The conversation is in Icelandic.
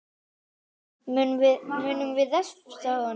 Munum við refsa honum?